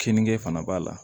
Keninge fana b'a la